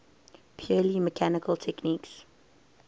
purely mechanical techniques